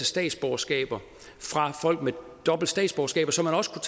statsborgerskaber fra folk med dobbelt statsborgerskab så man også